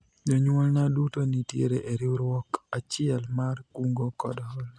jonyuolna duto nitiere e riwruok achiel mar kungo kod hola